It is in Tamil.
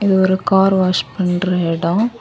இது ஒரு கார் வாஷ் பண்ற எடம்.